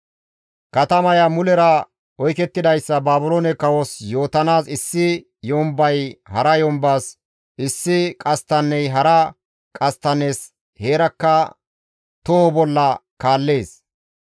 Katamaya mulera oykettidayssa Baabiloone kawos yootanaas issi yombay hara yombas, issi qasttanney hara qasttannes heerakka toho bolla kaallees.